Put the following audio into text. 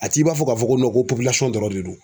A t'i b'a fɔ k'a fɔ ko nɔn ko popilasɔn dɔrɔn de don